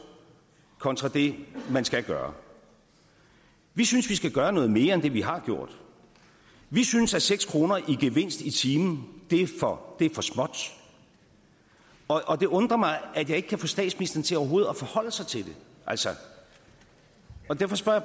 kontra det man skal gøre vi synes vi skal gøre noget mere end det vi har gjort vi synes at seks kroner i gevinst i timen er for småt og det undrer mig at jeg ikke kan få statsministeren til overhovedet at forholde sig til det altså derfor spørger